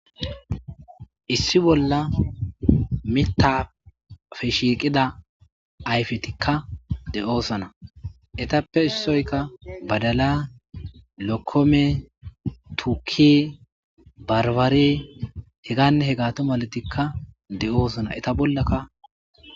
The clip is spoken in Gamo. Issi balla miththaafe shiiqida ayfethikka de7oosona; ethappe issoykka badalee,lokkomee,tukkee,barbaree hegaanne hegaathu malethikka de7oosona; etha bollaka.